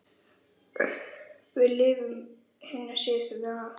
Við lifum hina síðustu daga.